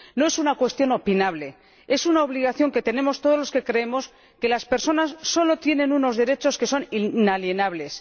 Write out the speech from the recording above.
No es una cuestión opinable es una obligación que tenemos todos los que creemos que las personas solo tienen unos derechos que son inalienables.